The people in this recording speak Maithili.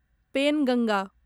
पेनगंगा